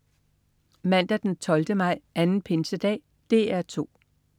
Mandag den 12. maj. Anden pinsedag - DR 2: